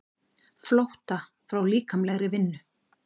Flótta frá líkamlegri vinnu.